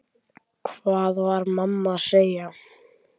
Hvað var mamma að segja?